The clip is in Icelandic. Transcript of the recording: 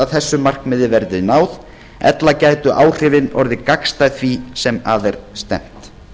þessu markmiði verði náð ella gætu áhrifin orðið gagnstæð því sem að er stefnt